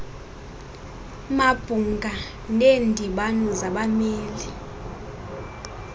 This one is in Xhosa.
mabhunga neendibano zabameli